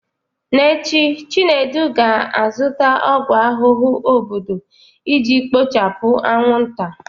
N'echi, Chinedu ga-azụta ọgwụ ahụhụ obodo iji kpochapụ anwụnta